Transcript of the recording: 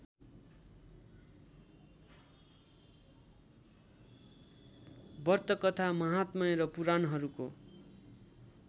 व्रतकथा महात्म्य र पुराणहरूको